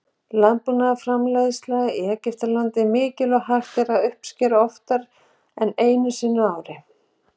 Landbúnaðarframleiðsla í Egyptalandi er mikil og hægt er að uppskera oftar en einu sinni ári.